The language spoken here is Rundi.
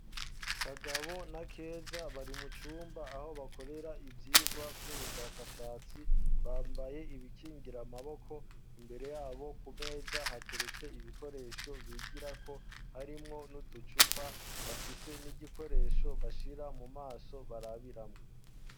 Kagabo na Keza bari mu cumba aho bakorera ivyigwa vy'ubushakashatsi bambaye ibikingira amaboko imbere yabo ku meza hateretse ibikoresho bigirako harimwo n'uducupa bafise n'igikoresho bashira mu maso barabiramwo.